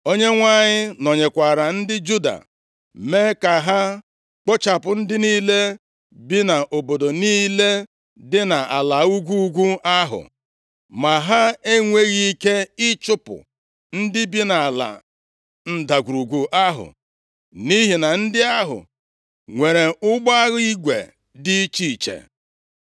Onyenwe anyị nọnyeekwara ndị Juda mee ka ha kpochapụ ndị niile bi nʼobodo niile dị nʼala ugwu ugwu ahụ. Ma ha enweghị ike ịchụpụ ndị bi nʼala ndagwurugwu ahụ, nʼihi na ndị ahụ nwere ụgbọ agha igwe dị iche iche.